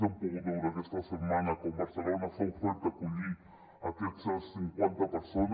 hem pogut veure aquesta setmana com barcelona s’ha ofert a acollir aquestes cinquanta persones